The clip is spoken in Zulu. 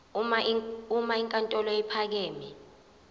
uma inkantolo ephakeme